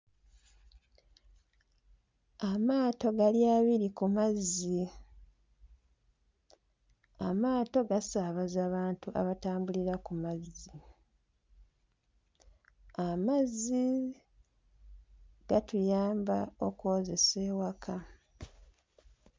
Amaato gali abiri ku mazzi. Amaato gasaabaza bantu abatambulira ku mazzi. Amazzi gatuyamba okwozesa ewaka.